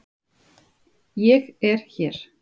ÉG ER HÉR!